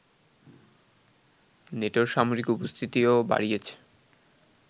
নেটোর সামরিক উপস্থিতিও বাড়িয়েছে